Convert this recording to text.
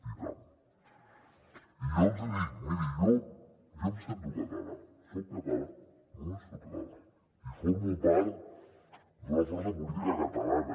i tant i jo els hi dic miri jo em sento català soc català només soc català i formo part d’una força política catalana